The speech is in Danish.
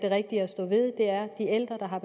man har